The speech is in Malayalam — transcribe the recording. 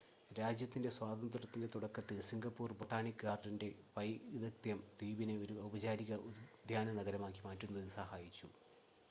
രാജ്യത്തിൻ്റെ സ്വാതന്ത്ര്യത്തിൻ്റെ തുടക്കത്തിൽ സിംഗപ്പൂർ ബൊട്ടാണിക്ക് ഗാർഡൻ്റെ വൈദഗ്‌ധ്യം ദ്വീപിനെ ഒരു ഔപചാരിക ഉദ്യാന നഗരമാക്കി മാറ്റുന്നതിൽ സഹായിച്ചു